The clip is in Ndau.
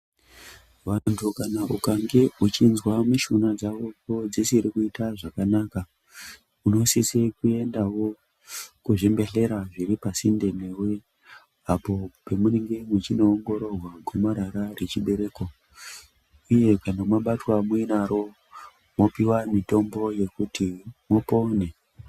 Vantu kana ukange uchinzwa mishuna dzako dzisiri kuita zvakanaka unosise kwendawo kuzvibhedhlera zviri pasinde newe apo pemunenge mwechindoongororwa gomarara rechibereko uye kana mwabatwa muinaro mwopiwa mitombo yekuti mupone.